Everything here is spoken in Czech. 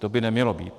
To by nemělo být.